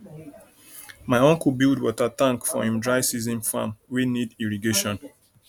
my uncle build water tank for him dry season farm wey need irrigation